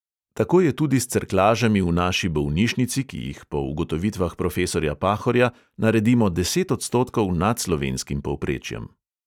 Tako je tudi s cerklažami v naši bolnišnici, ki jih po ugotovitvah profesorja pahorja naredimo deset odstotkov nad slovenskim povprečjem.